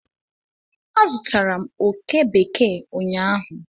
Azụtara m oke bekee ụnyaahụ.